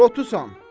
Lotusan.